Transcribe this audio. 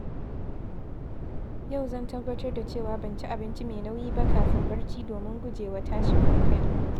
Yau zan tabbatar da cewa ban ci abinci mai nauyi ba kafin barci domin gujewa tashin hankali